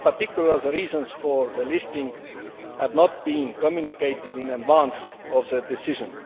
In particular, the reasons for the listing had not been communicated in advance of the decision.